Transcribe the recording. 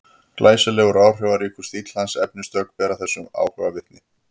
Glæsilegur og áhrifaríkur stíll hans og efnistök bera þessum áhuga vitni.